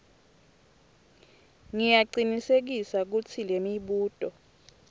ngiyacinisekisa kutsi lemibuto